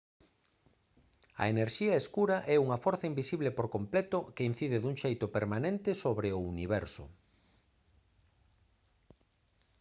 a enerxía escura é unha forza invisible por completo que incide dun xeito permanente sobre o universo